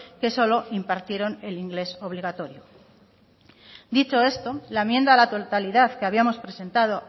que solo impartieron el inglés obligatorio dicho esto la enmienda a la totalidad que habíamos presentado